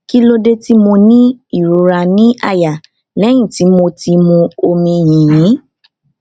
kí ló dé tí mo ní ìrora ní àyà lẹyìn tí mo ti mu omi yìnyín